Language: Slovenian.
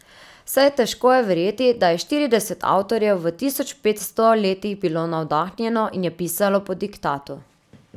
Saj težko je verjeti da je štirideset avtorjev v tisočpetsto letih bilo navdahnjeno in je pisalo po diktatu.